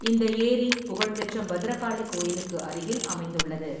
இந்த ஏரி புகழ்பெற்ற பத்ரகாளி கோயிலுக்கு அருகில் அமைந்துள்ளது.